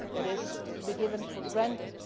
that is to be taken for granted